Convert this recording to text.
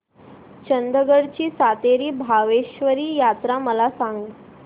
चंदगड ची सातेरी भावेश्वरी यात्रा मला सांग